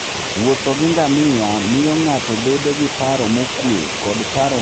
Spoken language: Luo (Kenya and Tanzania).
Wuotho gi ngamia miyo ng'ato bedo gi paro mokuwe koda paro mokuwe e alwora ma ji ok oheroe wuoth.